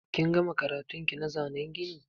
Kin gama karatun ki na zanen gini?